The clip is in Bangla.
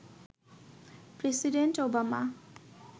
president Obama